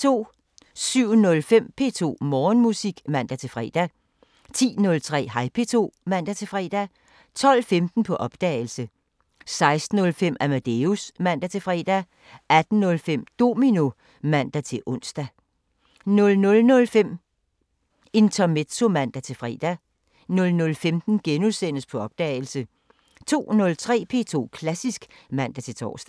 07:05: P2 Morgenmusik (man-fre) 10:03: Hej P2 (man-fre) 12:15: På opdagelse 16:05: Amadeus (man-fre) 18:05: Domino (man-ons) 00:05: Intermezzo (man-fre) 00:15: På opdagelse * 02:03: P2 Klassisk (man-tor)